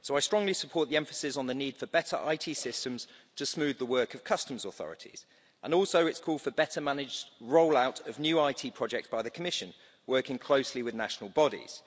So I strongly support the emphasis on the need for better IT systems to smooth the work of customs authorities and also its call for better managed roll-out of new IT projects by the Commission, working closely with national bodies.